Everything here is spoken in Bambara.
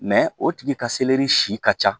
Mɛ o tigi ka selɛri si ka ca